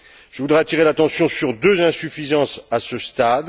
Je voudrais attirer l'attention sur deux insuffisances à ce stade.